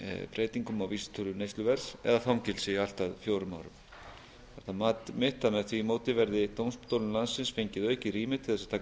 breytingum á vísitölu neysluverðs eða fangelsi allt að fjórum árum er það mat mitt að með því móti verði dómstólum landsins fengið aukið rými til þess að taka